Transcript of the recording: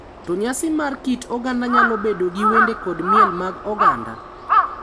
to nyasi mar kit oganda nyalo bedo gi wende kod miel mag oganda.